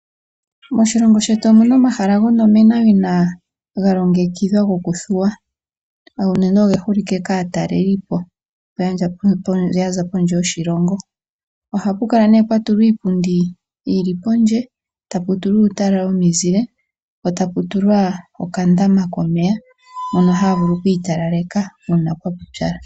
Moshilongo shetu omuna omahala gonomenawina galongekidhilwa okuthuwa unene, oge holike kaatalelipo yaza pondje yoshilongo, ohapukala nee pwatulwa iipundi yili pondje, taputulwa uutala womizile po taputulwa okandama komeya mono havulu okwitalaleka una kwapupyala.